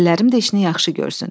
Əllərim də işini yaxşı görsün.